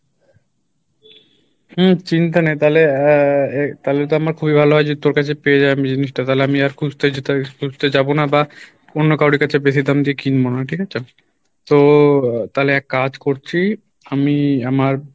হম চিন্তা নাই তালে আহ আহ তালে তো আমার খুবই ভালো হয় যে তোর কাছে পেয়ে যাবো আমি জিনিসটা তালে আমি আর খুঁজতে যেতে খুঁজতে যাবো না বা অন্য কারোরই কাছে বেশি দাম দিয়ে কিনবো না, ঠিক আছে? তো তালে এক কাজ করছি আমি আমার